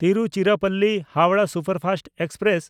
ᱛᱤᱨᱩᱪᱤᱨᱟᱯᱚᱞᱞᱤ–ᱦᱟᱣᱲᱟᱦ superfast express